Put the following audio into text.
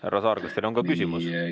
Härra Saar, kas teil on ka küsimus?